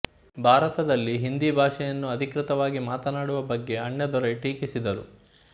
ಭಾರತದಲ್ಲಿ ಹಿಂದಿ ಭಾಷೆಯನ್ನು ಅಧಿಕೃತವಾಗಿ ಮಾತನಾಡುವ ಬಗ್ಗೆ ಅಣ್ಣಾದೊರೈ ಟೀಕಿಸಿದರು